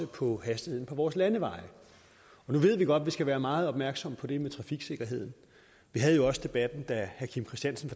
på hastigheden på vores landeveje nu ved vi godt at vi skal være meget opmærksomme på det med trafiksikkerheden vi havde også debatten da herre kim christiansen